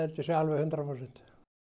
sé alveg hundrað prósent